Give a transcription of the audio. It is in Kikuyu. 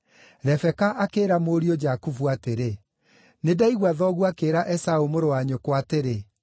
Rebeka akĩĩra mũriũ Jakubu atĩrĩ, “Nĩ ndaigua thoguo akĩĩra Esaũ mũrũ wa nyũkwa atĩrĩ,